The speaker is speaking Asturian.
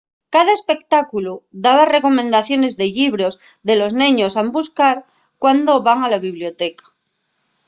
cada espectáculu daba recomendaciones de llibros que los neños han buscar cuando van a la biblioteca